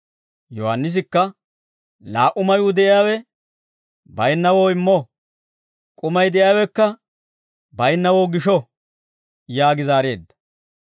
Yohaannisikka, «Laa"u mayuu de'iyaawe baynnawoo immo; k'umay de'iyaawekka baynnawoo gisho» yaagi zaareedda.